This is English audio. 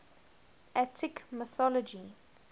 attic mythology